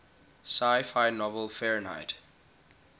sci fi novel fahrenheit